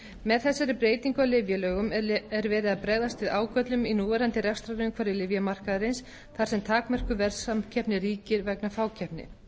með þessari breytingu á lyfjalögum er verið að bregðast við ágöllum í núverandi rekstrarumhverfi lyfjamarkaðarins þar sem takmörkuð verðsamkeppni ríkir vegna fákeppni